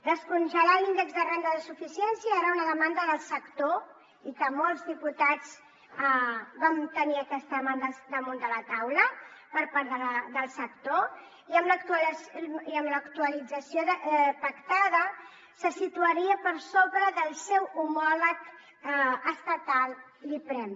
descongelar l’índex de renda de suficiència era una demanda del sector i molts diputats vam tenir aquesta demanda damunt de la taula per part del sector i amb l’actualització pactada se situaria per sobre del seu homòleg estatal l’iprem